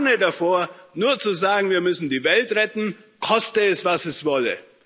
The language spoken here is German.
Ich warne davor, nur zu sagen, wir müssen die Welt retten, koste es, was es wolle.